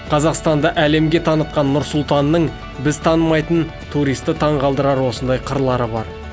қазақстанды әлемге танытқан нұр сұлтанның біз танымайтын туристі таңғалдырар осындай қырлары бар